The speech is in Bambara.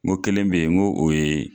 N ko kelen bɛ ye n ko o ye